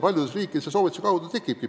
Paljudes riikides need soovituste peale tekivadki.